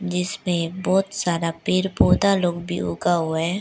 जिसपे बहोत सारा पेड़ पौधा लोग भी उगा हुआ है।